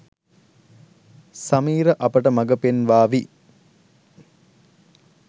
සමීර අපට මගපෙන්වාවි.